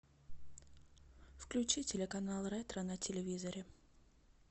включи телеканал ретро на телевизоре